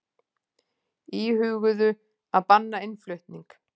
Íhuguðu að banna innflutning